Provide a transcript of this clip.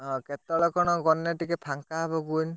ହଁ କେତେବେଳ କଣ ଗଲେ ଟିକେ ଫାଙ୍କା ହବ କୁହନୀ?